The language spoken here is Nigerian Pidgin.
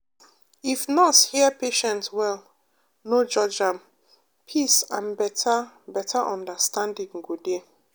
if nurse hear patient well no judge am peace and better better understanding go dey.